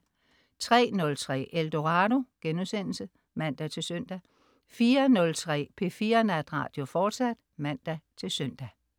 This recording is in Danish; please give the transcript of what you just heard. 03.03 Eldorado* (man-søn) 04.03 P4 Natradio, fortsat (man-søn)